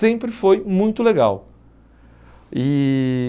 Sempre foi muito legal. E